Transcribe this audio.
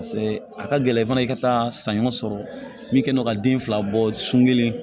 a ka gɛlɛn i fana i ka taa saɲɔ sɔrɔ min kɛ ka den fila bɔ sunguru